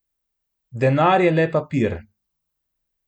Denar je le papir.